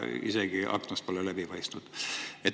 Isegi aknad polnud läbipaistvad.